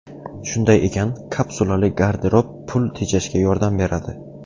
Shunday ekan, kapsulali garderob pul tejashga yordam beradi.